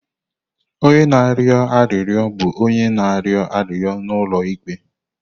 Onye na-arịọ arịrịọ bụ onye na-arịọ arịrịọ n'ụlọ ikpe.